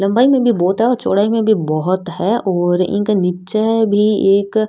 लम्बाई में भी बहोत है और चौड़ाई में भी बहोत है और इनके नीचे भी एक --